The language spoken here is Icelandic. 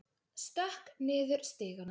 Stökk niður stigana.